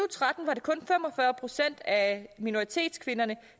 tretten var det kun fem og fyrre procent af minoritetskvinderne